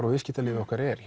og viðskiptakerfið okkar er